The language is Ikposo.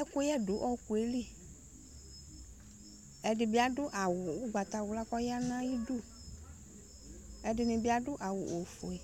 ɛkʋyɛ dʋ ɔkʋ yɛli ɛdibi adʋ awʋ ʋgbatawla kʋ ɔyanʋ ayʋ idʋ ɛdini bi adʋ awʋ ofue